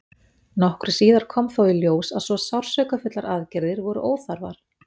nokkru síðar kom þó í ljós að svo sársaukafullar aðgerðir voru óþarfar